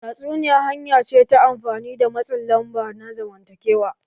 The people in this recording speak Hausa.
Tatsuniya hanya ce ta amfani da matsin lamba na zamantakewa.